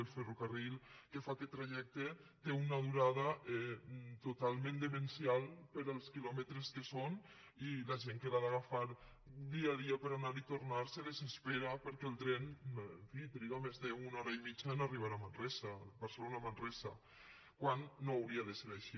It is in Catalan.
el ferrocarril que fa aquest trajecte té una du·rada totalment demencial per als quilòmetres que són i la gent que l’ha d’agafar dia a dia per anar i tornar se desespera perquè el tren en fi triga més d’una ho·ra i mitja per arribar a manresa barcelona·manresa quan no hauria de ser així